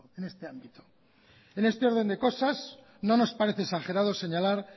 en este ámbito en este orden de cosas no nos parece exagerado señalar